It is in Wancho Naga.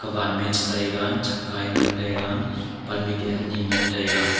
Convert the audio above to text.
ma a chi taiga chaka a ngan taiga pan mik a ani ngan taiga.